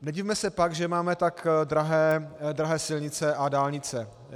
Nedivme se pak, že máme tak drahé silnice a dálnice.